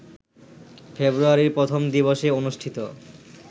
ফেব্রুয়ারির প্রথম দিবসে অনুষ্ঠিত